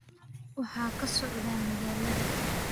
waxa ka socda magaalada